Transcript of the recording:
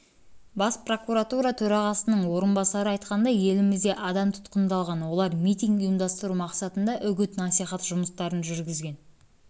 бас прокуратура төрағасының орынбасары айтқандай елімізде адам тұтқындалған олар митинг ұйымдастыру мақсатында үгіт насихат жұмыстарын жүргізген